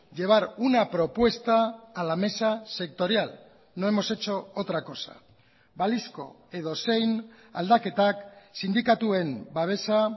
llevar una propuesta a la mesa sectorial no hemos hecho otra cosa balizko edozein aldaketak sindikatuen babesa